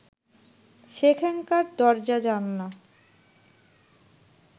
সেখানকার দরজা-জানালা